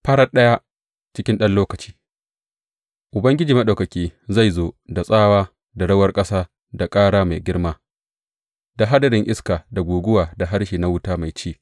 Farat ɗaya, cikin ɗan lokaci, Ubangiji Maɗaukaki zai zo da tsawa da rawar ƙasa da ƙara mai girma, da hadarin iska da guguwa da harshe na wuta mai ci.